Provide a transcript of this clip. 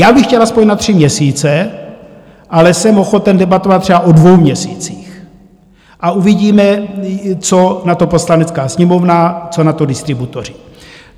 Já bych chtěl aspoň na tři měsíce, ale jsem ochoten debatovat třeba o dvou měsících, a uvidíme, co na to Poslanecká sněmovna, co na to distributoři.